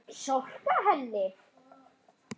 Storka henni.